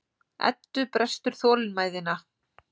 Eddu brestur þolinmæðina.